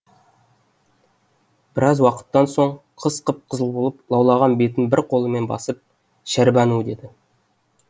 біраз уақыттан соң қыз қып қызыл болып лаулаған бетін бір қолымен басып шәрбану деді